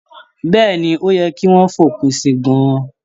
Bẹ́ẹ̀ni, ó yẹ kí wọ́n fòpin si gan-an.